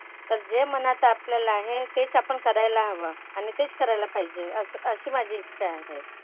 तर जे मनात आपल्याला आहे तेच आपण करायला हवं आणि तेच करायला पाहिजे असं अशी माझी इच्छा आहे.